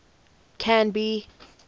canby